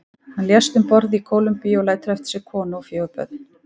Hann lést um borð í Kólumbíu og lætur eftir sig konu og fjögur börn.